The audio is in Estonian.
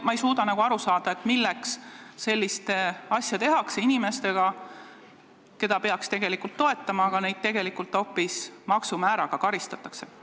Ma ei suuda aru saada, milleks sellist asja tehakse inimestega, keda peaks tegelikult toetama, aga hoopis maksumääraga karistatakse.